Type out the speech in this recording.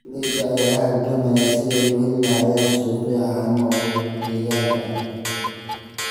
Beeralayda ayaa la halgamaya sidii ay u heli lahaayeen suuqyo caano oo deegaanka ah.